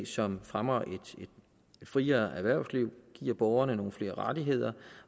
som fremmer et friere erhvervsliv giver borgerne nogle flere rettigheder